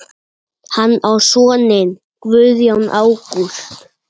Hann á soninn Guðjón Ágúst.